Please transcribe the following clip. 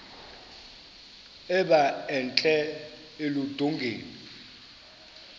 emba entla eludongeni